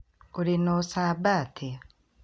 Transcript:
Ũrĩ na ũcamba atia?